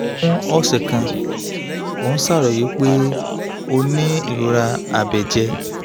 fún ọ̀sẹ̀ kan ó ń ṣàròyé pé ó ó ní ìrora abẹ́jẹ